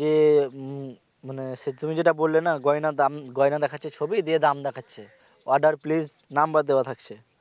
যে উম মানে সেটা তুমি যেটা বললে না গয়নার দাম গয়না দেখাচ্ছে ছবি দিয়ে দাম দেখাচ্ছে order please নাম্বার দেয়া থাকছে